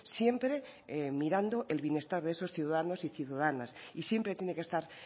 siempre mirando el bienestar de esos ciudadanos y ciudadanas y siempre tiene que estar